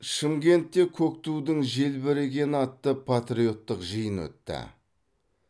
шымкентте көк тудың желбірегені атты патриоттық жиын өтті